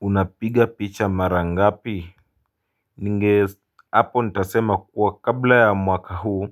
Unapiga picha mara ngapi? Ninge, hapo nitasema kuwa kabla ya mwaka huu,